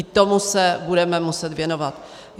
I tomu se budeme muset věnovat.